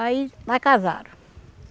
Aí mas casaram.